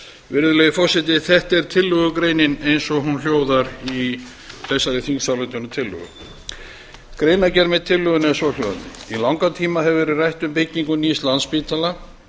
virðulegi forseti þetta er tillögugreinin eins og hún hljóðar í þingsályktunartillögunni greinargerð með tillögunni er svohljóðandi í langan tíma hefur verið rætt um byggingu nýs landspítala